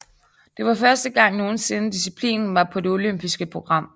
Det var første gang nogensinde disciplinen var på det olympiske program